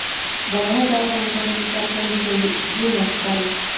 bolani darhol mutaxassislar ko‘rigiga yo‘llash zarur.